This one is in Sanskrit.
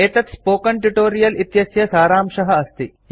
एतत् स्पोकन ट्यूटोरियल इत्यस्य सारांशः अस्ति